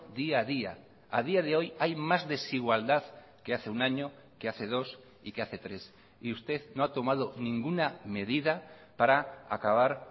día a día a día de hoy hay más desigualdad que hace un año que hace dos y que hace tres y usted no ha tomado ninguna medida para acabar